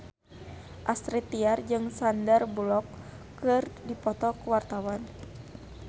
Astrid Tiar jeung Sandar Bullock keur dipoto ku wartawan